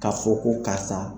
Ka fɔ ko karisa.